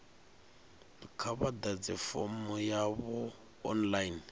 kha vha ḓadze fomo yavho online